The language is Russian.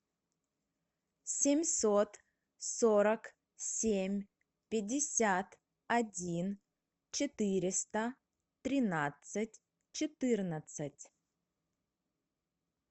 семьсот сорок семь пятьдесят один четыреста тринадцать четырнадцать